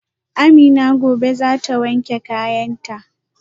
Amina gobe zata wanke kayanta